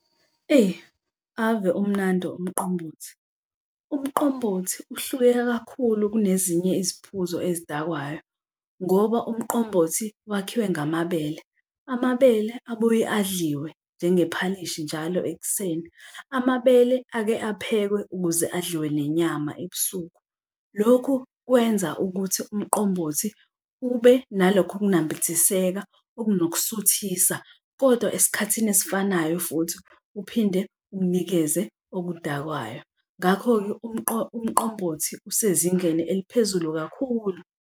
Eyi, ave umnandi umqombothi. Umqombothi uhluke kakhulu kunezinye iziphuzo ezidakwayo ngoba umqombothi wakhiwe ngamabele. Amabele abuye adliwe njengephalishi njalo ekuseni, amabele ake aphekwe ukuze adliwe nenyama ebusuku. Lokhu kwenza ukuthi umqombothi ube nalokho kunambithiseka okunokusuthisa, kodwa esikhathini esifanayo futhi uphinde unikeze obudakwayo, ngakho-ke umqombothi usezingeni eliphezulu kakhulu.